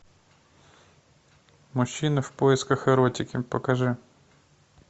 мужчина в поисках эротики покажи